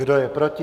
Kdo je proti?